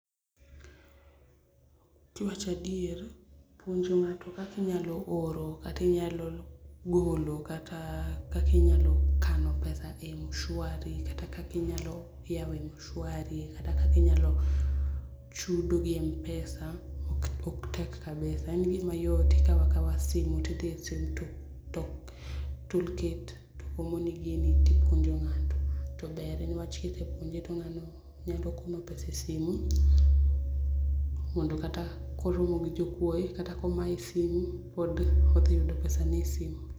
Kiwacho adier puonjo nga'to kaka inyalo oro kati inyalo golo kata kakinyalo kano pesa e Mshwari kata kaka inyalo yawo Mshwari kata kaka inyalo chudo gi Mpesa ok tek kabisa en gimayot ikawo akawa simu ti ithiye sim two to toolkit omoni gini to ipwonjo nga'to to ber ni wach kisepuonje to nga'no nyalo kuno pesa e simu mondo kata ka oromo gi jokuoye kata ka omaye simu pod othiyudo pesane e simu